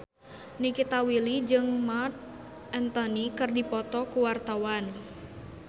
Nikita Willy jeung Marc Anthony keur dipoto ku wartawan